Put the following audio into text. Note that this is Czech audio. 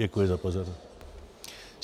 Děkuji za pozornost.